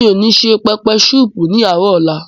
Mi ò ní se pẹpẹ súùpù ní àárò ọ̀la.